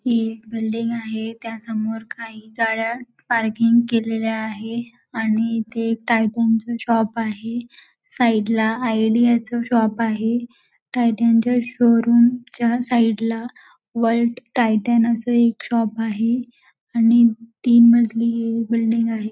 ही एक बिल्डिंग आहे त्यासमोर काही गाड्या पार्किंग केलेल्या आहे आणि इथे एक टायटन च शॉप आहे साईड ला आयडिया चा शॉप आहे टायटन च्या शोरूम च्या साईडला वर्ल्ड टायटन असा एक शॉप आहे आणि तीन मजली बिल्डिंग आहे.